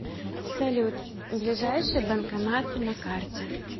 салют ближайшие банкоматы на карте